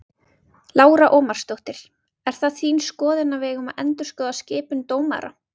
Lára Ómarsdóttir: Er það þín skoðun að við eigum að endurskoða skipun dómara?